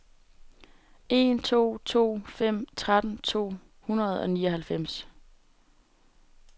en to to fem tretten to hundrede og nioghalvfems